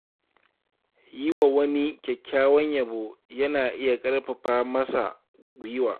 Yi wa wani kyakkyawan yabo yana iya ƙarfafa masa guiwa.